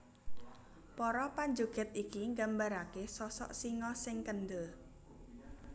Para panjogèd iki nggambaraké sosok singa sing kendel